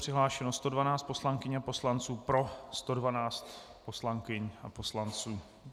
Přihlášeno 112 poslankyň a poslanců, pro 112 poslankyň a poslanců.